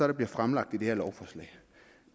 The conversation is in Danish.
der bliver fremlagt i det her lovforslag